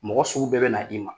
Mɔgɔ sugu bɛɛ bɛ na i ma.